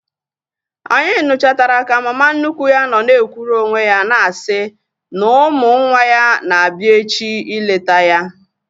Anyị nuchatara ka mama nnukwu ya nọ na-ekwuru onwe ya na-asị na ụmụ nwa ya na-abịa echi ileta ya